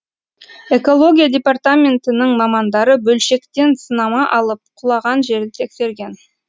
экология департаментінің мамандары бөлшектен сынама алып құлаған жерді тексерген